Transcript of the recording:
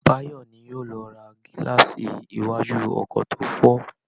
Báyọ̀ ni yóò lọ ra gílààsì iwájú ọkọ̀ tó fọ́